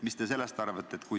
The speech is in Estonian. Mis te sellest arvate?